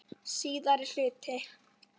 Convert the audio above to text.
Síðari hluti